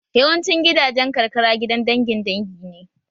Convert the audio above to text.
Yawancin gidajen karkara gidan dangin dangi ne